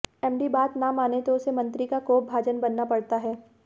MD बात न माने तो उसे मंत्री का कोपभाजन बनना पड़ता है